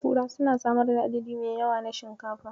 Kura suna samar da adadi mai yawa na shinkafa.